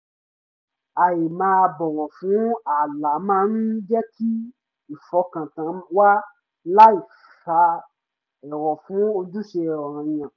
ì máa bọ́wọ̀ fún ààlà máa ń jẹ́ kí ìfọkàntán wà láì fa èrò fún ojúṣe ọ̀ranyàn